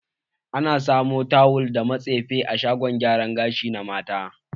Ana samun tawul da matsefe a shagon gyara gashi na mata.